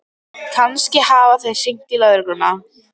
Kannski hafa þeir hringt í lögregluna.